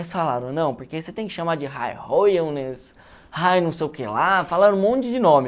falaram, não, porque você tem que chamar de High Royalness, High não sei o que lá, falaram um monte de nome.